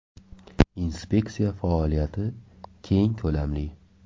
Inspeksiya faoliyati keng ko‘lamli.